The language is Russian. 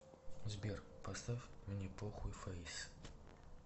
сбер поставь мне похуй фэйс